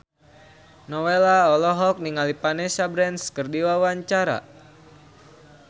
Nowela olohok ningali Vanessa Branch keur diwawancara